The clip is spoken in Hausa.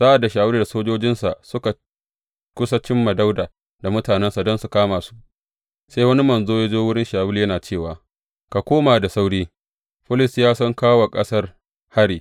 Sa’ad da Shawulu da sojojinsa suka kusa cimma Dawuda da mutanensa don su kama su, sai wani manzo ya zo wurin Shawulu yana cewa, Ka koma da sauri, Filistiyawa sun kawo wa ƙasar hari.